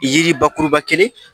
Yiri bakuruba kelen